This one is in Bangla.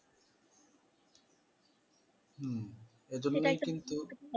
হম